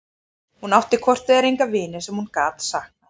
Hún átti hvort eð var enga vini sem hún gat saknað.